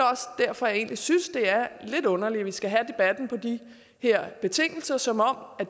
derfor jeg egentlig synes det er lidt underligt at vi skal have debatten på de her betingelser som om